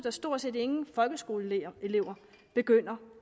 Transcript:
at stort set ingen folkeskoleelever begynder